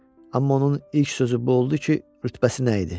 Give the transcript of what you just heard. Amma onun ilk sözü bu oldu ki, rütbəsi nə idi?